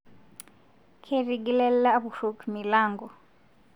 Ketigile lapurok milango